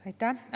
Aitäh!